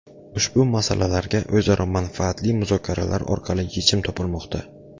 Ushbu masalalarga o‘zaro manfaatli muzokaralar orqali yechim topilmoqda.